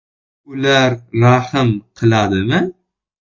Ular rahm qiladimi?